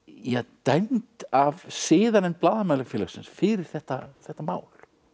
dæmd af siðanefnd Blaðamannafélagsins fyrir þetta þetta mál